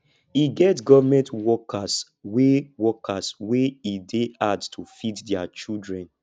e get government workers wey workers wey e dey hard to feed their children